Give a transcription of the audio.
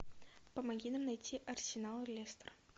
помоги нам найти арсенал лестер